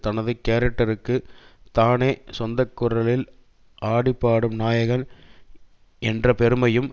தனது கேரக்டருக்கு தானே சொந்தக்குரலில் ஆடிப்பாடும் நாயகன் என்ற பெருமையும்